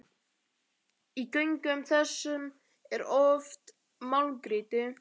Í göngum þessum er oft málmgrýti.